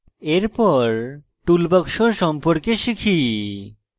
এরপর toolbox সম্পর্কে শিখি